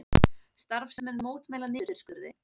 Starfsmenn mótmæla niðurskurði